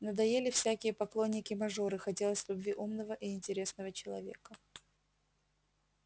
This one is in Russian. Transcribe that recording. надоели всякие поклонники-мажоры хотелось любви умного и интересного человека